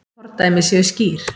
Fordæmi séu skýr.